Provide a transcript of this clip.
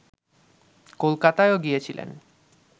কলকাতায়ও গিয়েছিলেন